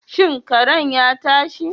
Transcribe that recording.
Shin karen ya tashi?